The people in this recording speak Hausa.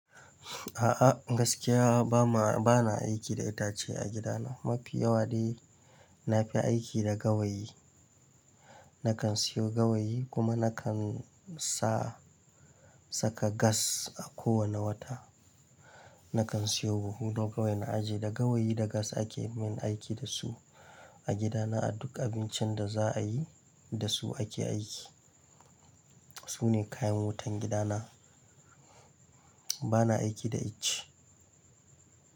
A'a gaskiya bana aiki da itace a gidana. Mafi yawa ɗai na fi aiki da gawayi. Nakan siyo gawayi kuma nakan sa saka gas a ko wane wata. Nakan siyo buhu na gawai na ajiye. Da gawayi da gas ake min aiki da su a gidana a duk abincin da za'a yi da su ake aiki. Su ne kayan wutan gidana. Bana aiki da ice.